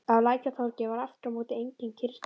Á Lækjartorgi var aftur á móti engin kyrrstaða.